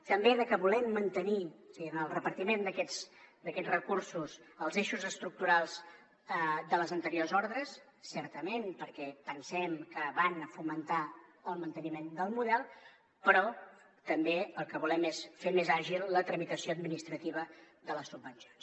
també de que volem mantenir en el repartiment d’aquests recursos els eixos estructurals de les anteriors ordres certament perquè pensem que van a fomentar el manteniment del model però també el que volem és fer més àgil la tramitació administrativa de les subvencions